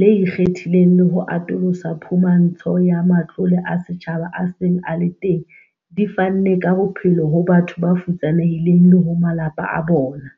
le ikgethileng le ho atolosa phumantsho ya matlole a setjhaba a seng a le teng di fanne ka bophelo ho batho ba futsanehileng le ho malapa a bona.